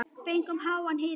Fengið háan hita.